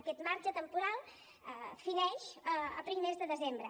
aquest marge temporal fineix a primers de desembre